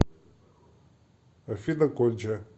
афина конча